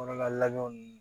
Kɔnɔlajɔ